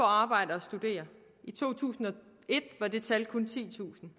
arbejde og studere i to tusind og et var det tal kun titusind